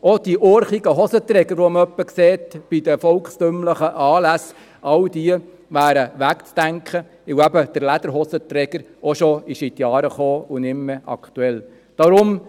Auch die urchigen Hosenträger, die man etwa an volkstümlichen Anlässen sieht, all diese wären wegzudenken, weil der Lederhosenträger auch schon in die Jahre gekommen und nicht mehr aktuell ist.